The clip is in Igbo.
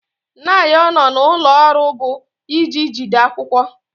Nyado nọ n'ụlọ ọrụ bụ ịji jide akwụkwọ.